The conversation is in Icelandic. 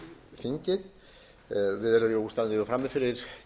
þingið við stöndum frammi fyrir